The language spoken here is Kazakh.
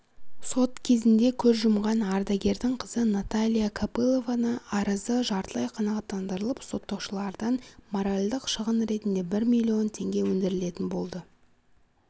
сот кезінде көз жұмған ардагердің қызы наталья копылованы арызы жартылай қанағаттандырылып сотталушылардан моральдық шығын ретінде бір миллион теңге өндірілетін болды